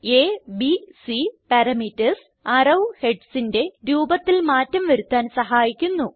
അ B C parameters arrow headsന്റെ രൂപത്തിൽ മാറ്റം വരുത്താൻ സഹായിക്കുന്നു